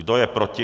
Kdo je proti?